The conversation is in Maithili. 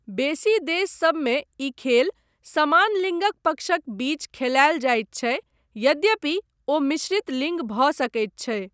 बेसी देशसभमे ई खेल समान लिङ्गक पक्षक बीच खेलायल जायत छै यद्यपि ओ मिश्रित लिंग भऽ सकैत छै।